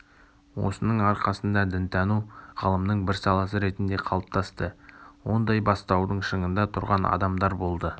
осының арқасында дінтану ғылымның бір саласы ретінде калыптасты ондай бастаудың шыңында тұрған адамдар болды